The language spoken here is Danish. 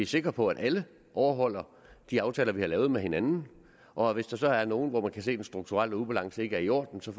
sikre på at alle overholder de aftaler vi har lavet med hinanden og hvis der så er nogen hvor man kan se at den strukturelle balance ikke er i orden så